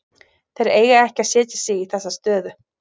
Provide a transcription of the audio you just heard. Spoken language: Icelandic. Þeir eiga ekki að setja sig í þessa stöðu.